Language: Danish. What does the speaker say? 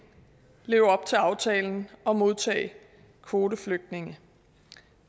leve op til aftalen og modtage kvoteflygtninge